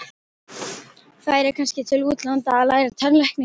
Færi kannski til útlanda að læra tannlækningar.